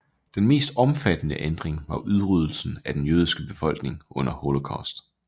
Den mest omfattende ændring var udryddelsen af den jødiske befolkning under Holocaust